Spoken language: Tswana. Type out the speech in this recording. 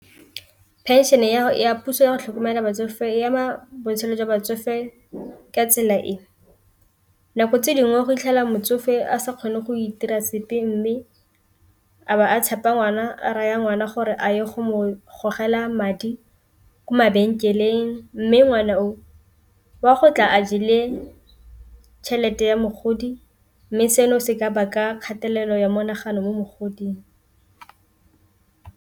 Phenšene ya puso yago tlhokomela batsofe e ama botshelo jwa batsofe ka tsela e, nako tse dingwe go itlhela motsofe a sa kgone go itira sepe, mme a ba a tshepa ngwana a raya ngwana gore a ye go gogela madi ko mabenkeleng, mme ngwana o o a go tla a jele tšhelete ya mogodi mme seno se ka baka kgatelelo ya monagano mo mogoding.